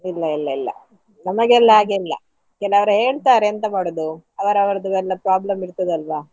ಇಲ್ಲ ಇಲ್ಲ ಇಲ್ಲ, ನಮಗೆಲ್ಲ ಹಾಗೆ ಇಲ್ಲ, ಕೆಲವ್ರು ಹೇಳ್ತಾರೆ ಎಂತ ಮಾಡುದು ಅವರವರದ್ದು ಎಲ್ಲ problem ಇರ್ತದೆ ಅಲ್ವಾ.